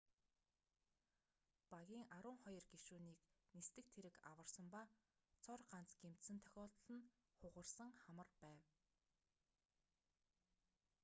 багийн арван хоёр гишүүнийг нисдэг тэрэг аварсан ба цор ганц гэмтсэн тохиолдол нь хугарсан хамар байв